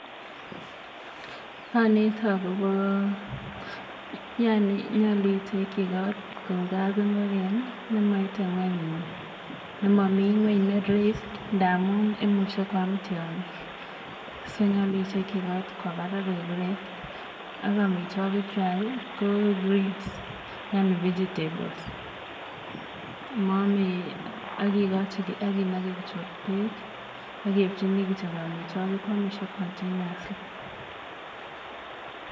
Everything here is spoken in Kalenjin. Anete akopa, yani nyalu itekchi kot kou kapngogen ne mmi ng'wany ne raised ndamu imuchi koam tiang'iik. So nyalu itekchi kot kowa parak koik raised. Ak amitwogikwak ko greens yani vegetables ak inake kityo peek ak iipchini kityo amitwogik koamishe continuously.